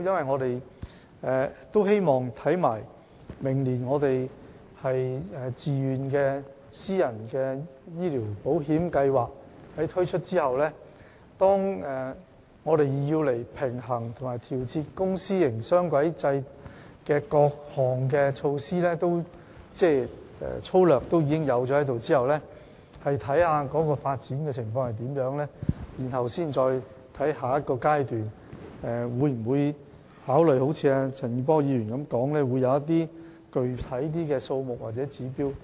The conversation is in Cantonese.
我們希望在明年推出自願私人醫療保險計劃後，以及當推動公私營雙軌制平衡發展的各項措施落實後，我們會審視有關發展情況，然後才會在下一個階段考慮會否如陳健波議員剛才所說，制訂具體的病床數目或指標。